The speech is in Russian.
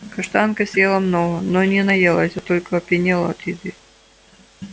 каштанка съела много но не наелась а только опьянела от еды